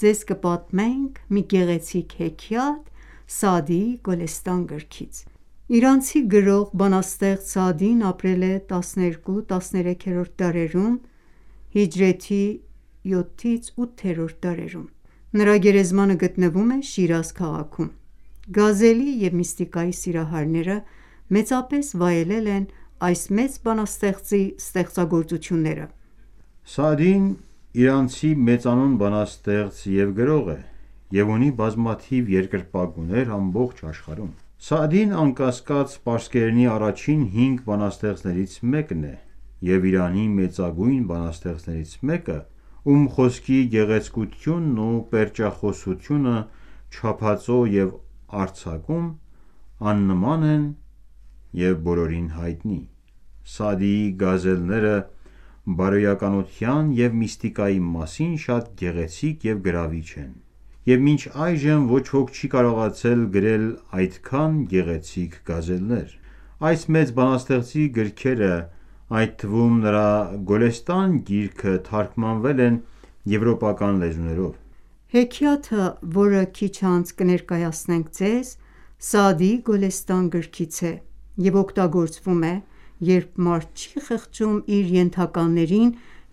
Ձեզ կպատմենք մի գեղեցիկ հեքիաթ Սաադիի Գոլեստան գրքից: Իրանցի գրող, բանաստեղծ Սաադին ապրել է 12-13-րդ դարերում (հիջրեթի 7-րդ և 8-րդ դարերում): Նրա գերեզմանը գտնվում է Շիրազ քաղաքում։ Գազելի և միստիկայի սիրահարները մեծապես վայելել են այս մեծ բանաստեղծի ստեղծագործությունները: Սաադին իրանցի մեծանուն բանաստեղծ և գրող է, և ունի բազմաթիվ երկրպագուներ ամբողջ աշխարհում: Սաադին, անկասկած, պարսկերենի առաջին հինգ բանաստեղծներից մեկն է և Իրանի մեծագույն բանաստեղծներից մեկը, ում խոսքի գեղեցկությունն ու պերճախոսությունը չափածո և արձակում աննման են և բոլորին հայտնի: Սաադիի գազելները բարոյականության և միստիկայի մասին շատ գեղեցիկ և գրավիչ են, և մինչ այժմ ոչ ոք չի կարողացել գրել այդքան գեղեցիկ գազելներ։ Այս մեծ բանաստեղծի գրքերը, այդ թվում՝ նրա Գոլեստան գիրքը թարգմանվել են եվրոպական լեզուներով։ Հեքիաթը, որը քիչ անց կներկայացնենք ձեզ, Սաադիի Գոլեստան գրքից է և օգտագործվում է, երբ մարդ չի խղճում իր ենթականերին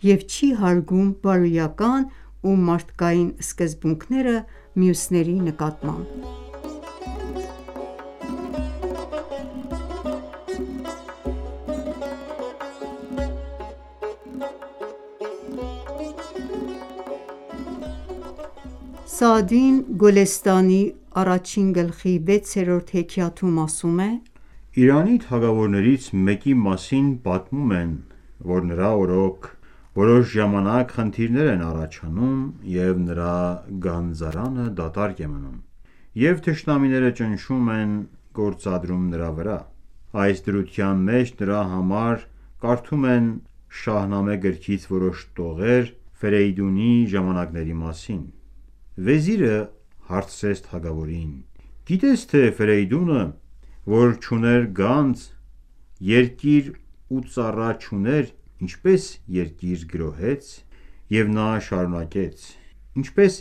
և չի հարգում բարոյական ու մարդկային սկզբունքները մյուսների նկատմամբ։ Սաադին «Գոլեստանի» առաջին գլխի 6-րդ հեքիաթում ասում է. «Իրանի թագավորներից մեկի մասին պատմում են, որ նրա օրոք որոշ ժամանակ խնդիրներ են առաջանում և նրա գանձարանը դատարկ է մնում, և թշնամիները ճնշում են գործադրում նրա վրա: Այս դրության մեջ նրա համար կարդում են Շահնամե գրքից որոշ տողեր Ֆերեյդունի ժամանակների մասին: Վեզիրը հարցրեց թագավորին. «Գիտե՞ս, թե Ֆերեյդունը, որ չուներ գանձ, երկիր ու ծառա չուներ, ինչպես երկիր գրոհեց»։ Եվ նա շարունակեց. «Ինչպես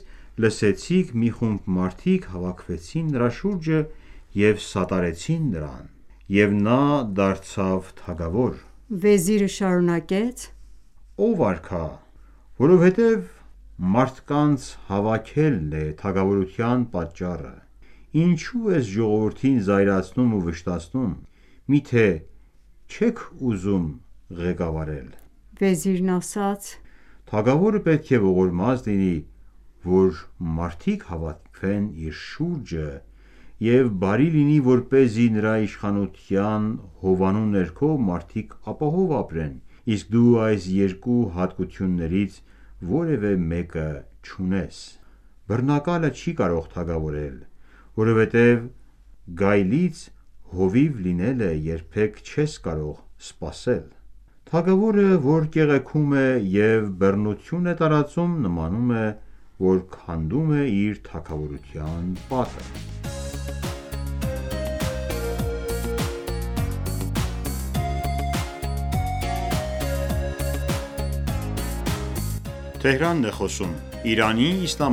լսեցիք, մի խումբ մարդիկ հավաքվեցին նրա շուրջը և սատարեցին նրան, և նա դարձավ թագավոր։ Վեզիրը շարունակեց.- Ո՛վ արքա, որովհետև մարդկանց հավաքվելն է թագավորության պատճառը, ինչո՞ւ ես ժողովրդին զայրացնում ու վշտացնում։ Միթե չե՞ք ուզում ղեկավարել։ Վեզիրը շարունակեց.- Թագավորը պետք է ողորմած լինի, որ մարդիկ հավաքվեն իր շուրջը և բարի լինի, որպեսզի նրա իշխանության հովանու ներքո մարդիկ ապահով ապրեն, իսկ դու այս երկու հատկություններից որևէ մեկը չունես։ Բռնակալը չի ​​կարող թագավորել. Որովհետև գայլից հովիվ լինել երբեք չես կարող սպասել: Թագավորը, որ կեղեքում է և բռնություն է տարածում, նմանում է, որ քանդում է իր թագավորության պատը: Սաադիի այս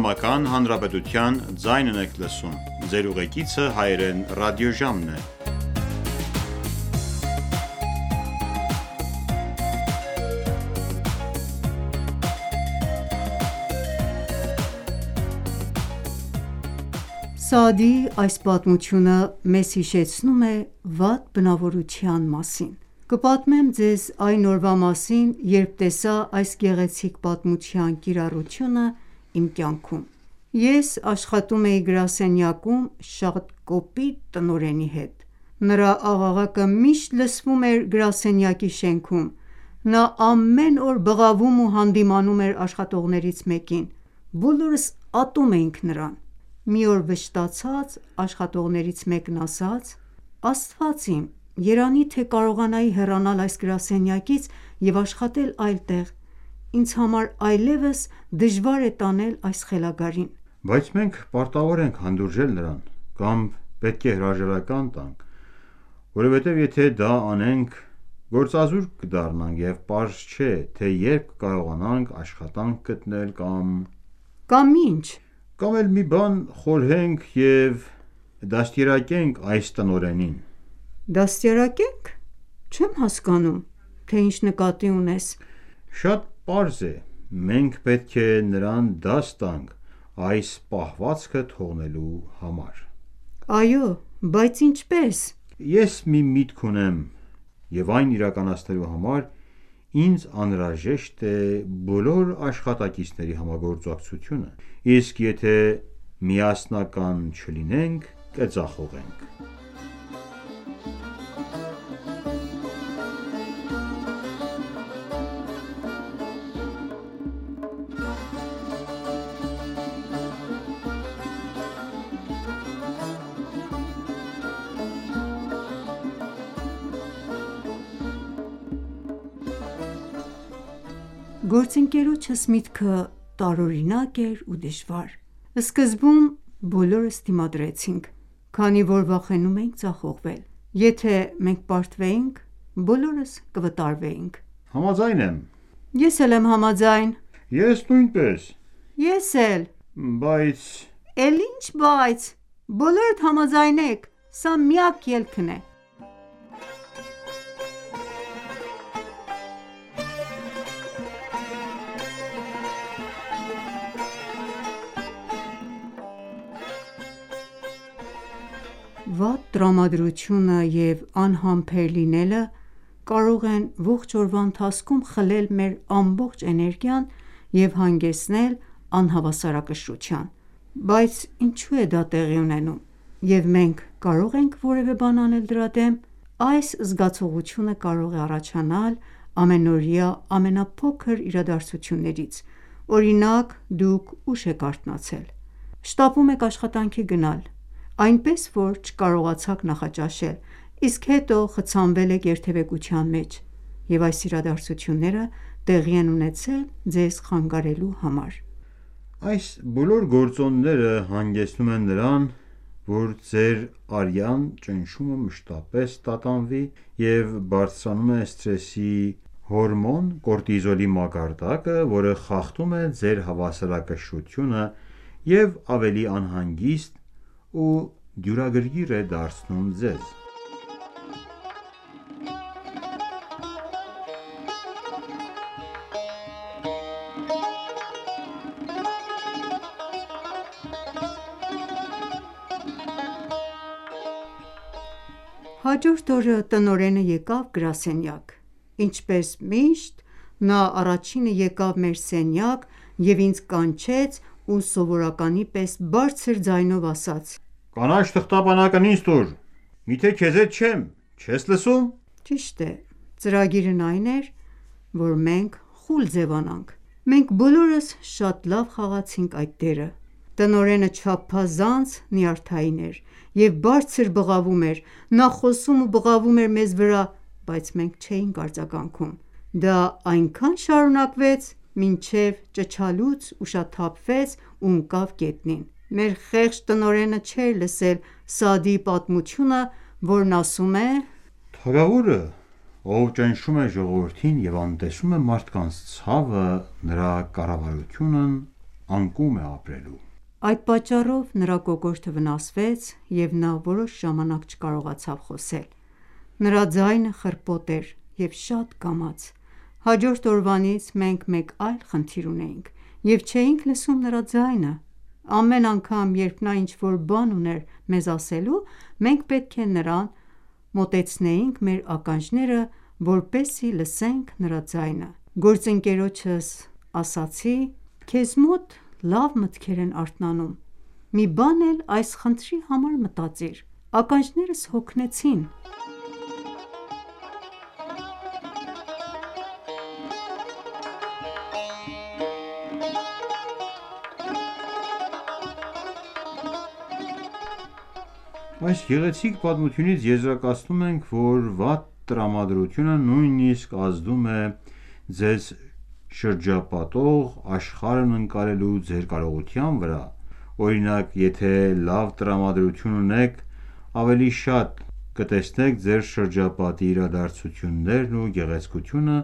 պատմությունը մեզ հիշեցնում է վատ բնավորության մասին։ Կպատմեմ ձեզ այն օրվա մասին, երբ տեսա այս գեղեցիկ պատմության կիրառությունն իմ կյանքում։ Ես աշխատում էի գրասենյակում շատ կոպիտ տնօրենի հետ: Նրա աղաղակը միշտ լսվում էր գրասենյակի շենքում։ Նա ամեն օր բղավում ու հանդիմանում էր աշխատողներից մեկին: Բոլորս ատում էինք նրան: Մի օր վշտացած աշխատողներից մեկն ասաց.-Աստված իմ, երանի թե կարողանայի հեռանալ այս գրասենյակից և աշխատել այլ տեղ: Ինձ համար այլեւս դժվար է տանել այս խելագարին։ -Բայց մենք պարտավոր ենք հանդուրժել նրան։ Կամ պետք է հրաժարական տանք, որովհետև եթե դա անենք, գործազուրկ կդառնանք, և պարզ չէ, թե երբ կկարողանանք աշխատանք գտնել, կամ... -Կամ ի՞նչ: -Կամ էլ մի բան խորհենք և դաստիարակենք այս տնօրենին: -Դաստիարակե՞նք: Չեմ հասկանում, թե ինչ նկատի ունես։ -Շատ պարզ է: Մենք պետք է նրան դաս տանք այս պահվածքը թողնելու համար։ -Այո, բայց ինչպե՞ս: -Ես մի միտք ունեմ և այն իրականացնելու համար ինձ անհրաժեշտ է բոլոր աշխատակիցների համագործակցությունը։ Իսկ եթե միասնական չլինենք, կձախողենք։ Պատմող- Գործընկերոջս միտքը տարօրինակ էր ու դժվար։ Սկզբում բոլորս դիմադրեցինք, քանի որ վախենում էինք ձախողվել: Եթե ​​մենք պարտվեինք, բոլորս կվտարվեինք։ -Համաձայն եմ: -Համաձայն եմ: -Ես նույնպես: -Ես էլ: -Բայց... -Էլ ինչ բայց: Բոլորդ համաձայնեք: Սա միակ ելքն է: Վատ տրամադրությունը և անհամբեր լինելը կարող են ողջ օրվա ընթացքում խլել մեր ամբողջ էներգիան և հանգեցնել անհավասարակշռության: Բայց ինչու է դա տեղի ունենում, և մենք կարո՞ղ ենք որևէ բան անել դրա դեմ: Այս զգացողությունը կարող է առաջանալ ամենօրյա ամենափոքր իրադարձություններից, օրինակ՝ դուք ուշ եք արթնացել և շտապում եք աշխատանքի գնալ, այնպես որ չկարողացաք նախաճաշել, իսկ հետո խցանվել եք երթևեկության մեջ, և այս իրադարձությունները տեղի են ունեցել ձեզ խանգարելու համար: Այս բոլոր գործոնները հանգեցնում են նրան, որ ձեր արյան ճնշումը մշտապես տատանվի և բարձրանում է սթրեսի հորմոն՝ կորտիզոլի մակարդակը, որը խախտում է ձեր հավասարակշռությունը և ավելի անհանգիստ ու դյուրագրգիռ է դարձնում ձեզ: Պատմող-Հաջորդ օրը տնօրենը եկավ գրասենյակ։ Ինչպես միշտ, նա առաջինը եկավ մեր սենյակ և ինձ կանչեց ու սովորականի պես բարձր ձայնով ասաց.-Կանաչ թղթապանակն ինձ տուր: -Միթե քեզ հետ չեմ: Չես լսո՞ւմ: Ճիշտ է: Ծրագիրն այն էր, որ մենք խուլ ձևանանք: Մենք բոլորս շատ լավ խաղացինք այդ դերը։ Տնօրենը չափազանց նյարդային էր և բարձր բղավում էր. Նա խոսում ու բղավում էր մեզ վրա, բայց մենք չէինք արձագանքում։ Դա այնքան շարունակվեց, մինչև ճչալուց ուշաթափվեց ու ընկավ գետնին։ Մեր խեղճ տնօրենը չէր լսել Սաադդիի պատմությունը, որն ասում է. «Թագավորը, ով ճնշում է ժողովրդին և անտեսում է մարդկանց ցավը, նրա կառավարությունն անկում է ապրելու»: Այդ պատճառով նրա կոկորդը վնասվեց, և նա որոշ ժամանակ չկարողացավ խոսել։ Նրա ձայնը խռպոտ էր և շատ կամաց։ Հաջորդ օրվանից մենք մեկ այլ խնդիր ունեինք, և չէինք լսում նրա ձայնը։ Ամեն անգամ, երբ նա ինչ-որ բան ուներ մեզ ասելու, մենք պետք է նրան մոտեցնեինք մեր ականջները, որպեսզի լսենք նրա ձայնը: Գործընկերոջս ասացի.- Քեզ մոտ լավ մտքեր են արթնանում: Մի բան էլ այս խնդրի համար մտածիր: Ականջներս հոգնեցին: Այս գեղեցիկ պատմությունից եզրակացնում ենք, որ վատ տրամադրությունը նույնիսկ ազդում է ձեզ շրջապատող աշխարհն ընկալելու ձեր կարողության վրա, օրինակ, եթե լավ տրամադրություն ունեք, ավելի շատ կտեսնեք ձեր շրջապատի իրադարձություններն ու գեղեցկությունը,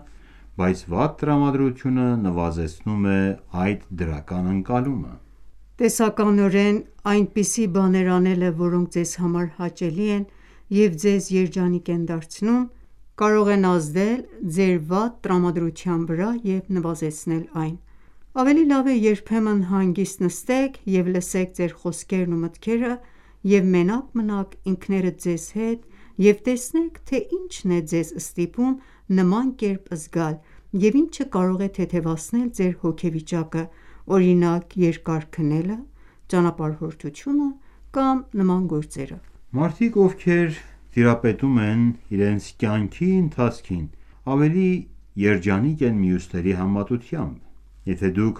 բայց վատ տրամադրությունը նվազեցնում է այդ դրական ընկալումը: Տեսականորեն, այնպիսի բաներ անելը, որոնք ձեզ համար հաճելի են և ձեզ երջանիկ են դարձնում, կարող են ազդել ձեր վատ տրամադրության վրա և նվազեցնել այն: Ավելի լավ է երբեմն հանգիստ նստեք և լսեք ձեր խոսքերն ու մտքերը և մենակ մնաք ինքներդ ձեզ հետ և տեսնեք, թե ինչն է ձեզ ստիպում նման կերպ զգալ և ինչը կարող է թեթևացնել ձեր հոգեվիճակը, օրինակ՝ երկար քնելը, ճանապարհորդությունը կամ նման գործերը: Մարդիկ, ովքեր տիրապետում են իրենց կյանքի ընթացքին, ավելի երջանիկ են մյուսների համեմատությամբ: Եթե ​​դուք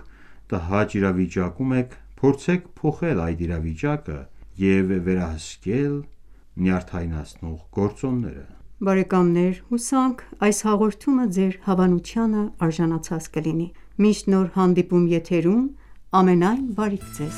տհաճ իրավիճակում եք, փորձեք փոխել այդ իրավիճակը եւ վերահսկել նյարդայնացնող գործոնները։ Բարեկամներ, հուսանք այս հաղորդումը ձեր հավանությանն արժանացած կլինի: Մինչ նոր հանդիպում եթերում ամենայն բարիք Ձեզ: